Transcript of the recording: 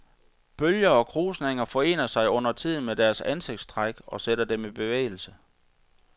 Bølger og krusninger forener sig undertiden med deres ansigtstræk og sætter dem i bevægelse.